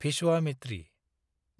भिस्वामित्रि